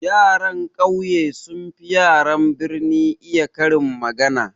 Yaran ƙauye sun fi yaran birni iya karin magana.